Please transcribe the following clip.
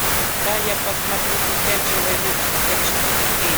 дай я посмотрю дитя человеческое четыре кей